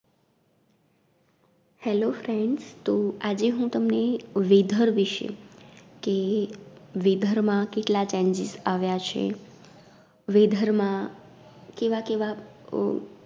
Hello friends તો આજે હું તમને Weather વિષે કે Weather માં કેટલા Changes આવ્યા છે Weather માં કેવા કેવા અ